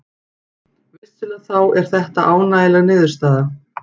Vissulega þá er þetta ánægjuleg niðurstaða